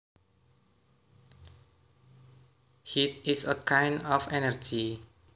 Heat is a kind of energy